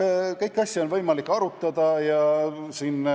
Jah, kõiki asju on võimalik arutada.